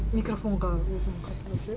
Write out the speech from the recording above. микрофонға осыны қайталап